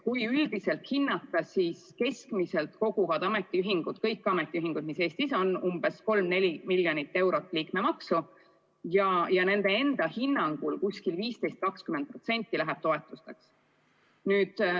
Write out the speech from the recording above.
Kui üldiselt hinnata, siis keskmiselt koguvad ametiühingud – kõik ametiühingud, mis Eestis on – kokku 3–4 neli miljonit eurot liikmemaksu ja nende enda hinnangul 15–20% läheb toetusteks.